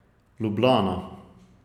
Ljubljana.